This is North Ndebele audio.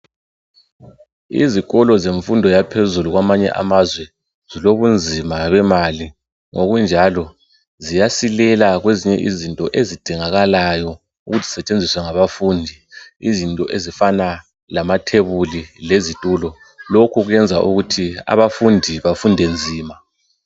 Izikolo zemfundo yaphezulu kwamanye amazwe, zilobunzima bemali ngokunjalo ziyasilela kwezinye izinto ezidingakalayo ukuthi zisetshenziswe ngabafundi izinto ezifana lamathebuli lesitulo, lokhu kwenza ukuthi abafundi bafunde nzima.